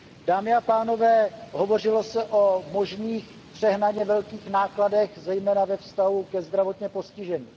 Dámy a pánové, hovořilo se o možných přehnaně velkých nákladech zejména ve vztahu ke zdravotně postiženým.